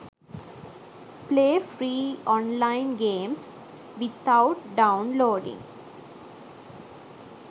play free online games without downloading